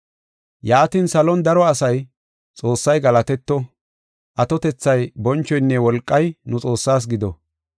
Yaatin, salon daro asay, “Xoossay galatetto! Atotethay, bonchoynne wolqay nu Xoossaas gido.